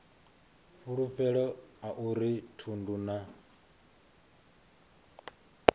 fulufhelo a uri thundu na